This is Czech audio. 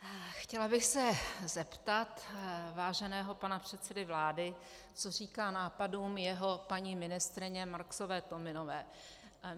Chtěla bych se zeptat váženého pana předsedy vlády, co říká nápadům své paní ministryně Marksové Tominové.